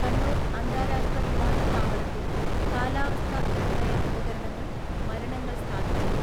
കണ്ണൂർ അന്താരാഷ്ട്ര വിമാനത്താവളത്തിൽ കാലാവസ്ഥ നിർണ്ണയ ഉപകരണങ്ങൾ മരണങ്ങൾ സ്ഥാപിച്ചത്.